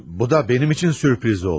Bu da mənim üçün sürpriz oldu.